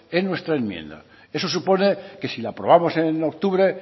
en nuestra enmienda eso supone que si la aprobamos en octubre